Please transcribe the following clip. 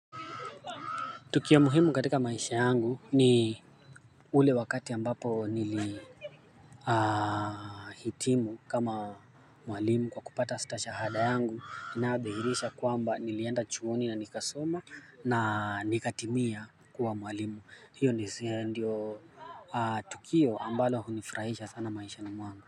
Tukio muhimu katika maisha yangu ni ule wakati ambapo nili hitimu kama mwalimu kwa kupata stashahada yangu inayo dhihirisha kwamba nilienda chuoni na nikasoma na nikatimia kuwa mwalimu hiyo ndio tukio ambalo hunifurahisha sana maishani mwangu.